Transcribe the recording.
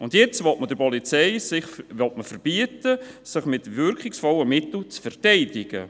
Jetzt will man der Polizei verbieten, sich mit wirkungsvollen Mitteln zu verteidigen.